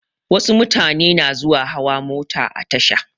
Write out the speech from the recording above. Wasu mutane na zuwa hawa mota a tasha.